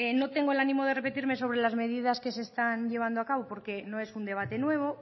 no tengo el ánimo de repetirme sobre las medidas que se están llevando a cabo porque no es un debate nuevo